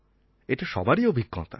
এটা সবারই অভিজ্ঞতা